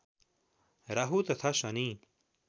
राहु तथा शनि